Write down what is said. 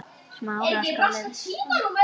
Bara ekkert.